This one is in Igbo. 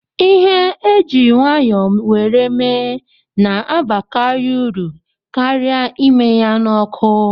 Ihe e ji nwayọ were mee na-abakari uru karịa ime ya n'ọkụ.